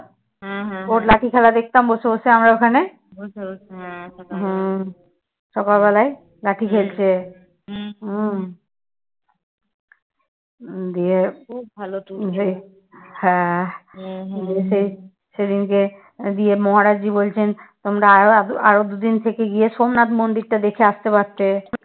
দিয়ে মহারাজজী বলছেন তোমরা আরো দুদিন থেকে গিয়ে সোমনাথ মন্দির টা দেখে আসতে পারতে।